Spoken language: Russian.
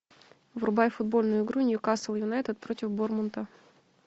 врубай футбольную игру ньюкасл юнайтед против борнмута